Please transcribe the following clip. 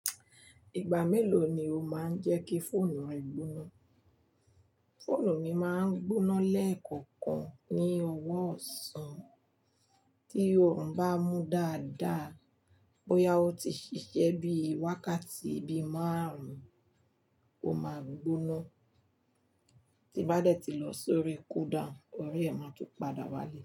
Ìgbà mélòó ni o máa ń jẹ́ kí fóònù rẹ gbóná? Fóònù mi máa ń gbóná lẹ́ẹ̀kọ̀kan ní ọwọ́ ọ̀sán, tí òrun bá mú dáadáa, bóyá ó ti ṣiṣẹ́ bí i wákàtí bí i márùn-ún, ó máa gbóná, Tí ó bá dẹ̀ ti lọ lórí cool down, orí ẹ̀ máa tún padà wá lẹ̀.